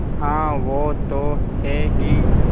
हाँ वो तो हैं ही